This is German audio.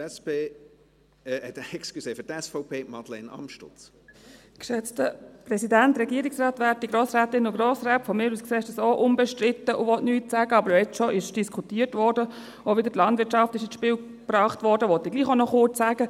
Von mir aus gesehen ist dies auch unbestritten, und ich will eigentlich gar nichts sagen, aber wenn jetzt schon diskutiert wurde und auch die Landwirtschaft wieder ins Spiel gebracht wurde, will ich trotzdem auch noch kurz etwas sagen.